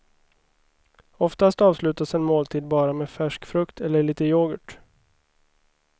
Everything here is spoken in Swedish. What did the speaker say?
Oftast avslutas en måltid bara med färsk frukt eller lite yoghurt.